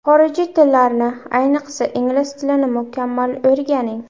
Xorijiy tillarni, ayniqsa ingliz tilini mukammal o‘rganing.